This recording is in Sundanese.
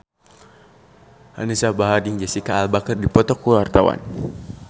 Anisa Bahar jeung Jesicca Alba keur dipoto ku wartawan